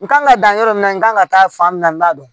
N kan ka dan yɔrɔ min na n kan ka taa fan min na n t'a dɔn